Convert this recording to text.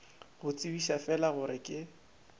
go tsebiša fela gore ke